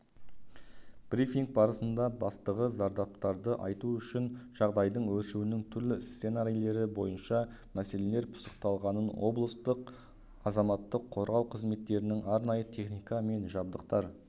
брифинг барысында бастығы зардаптарды азайту үшін жағдайдың өршуінің түрлі сценарийлері бойынша мәселелер пысықталғанын облыстың азаматтық қорғау қызметтерінің арнайы техника мен жабдықтар